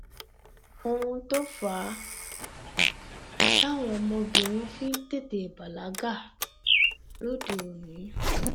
n tó fà á táwọn ọmọbìnrin fi ń tètè bàlágà lóde òní